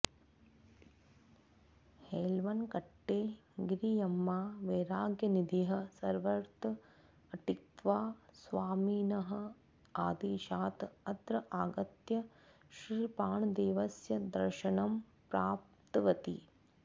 हेळवनकट्टे गिरियम्मा वैराग्यनिधिः सर्वत्र अटित्वा स्वामिनः आदेशात् अत्र आगत्य श्रीप्राणदेवस्य दर्शनं प्राप्तवती